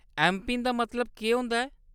MPIN दा मतलब केह्‌‌ होंदा ऐ ?